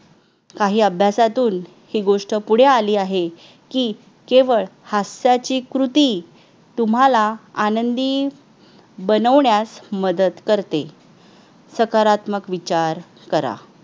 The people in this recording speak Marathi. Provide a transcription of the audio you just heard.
काही अभ्यासातून ही गोष्ट पुढे आली आहे की केवळ हास्याची कृती तुम्हाला आनंदी बनवण्यास मदत करते सकारात्मक विचार करा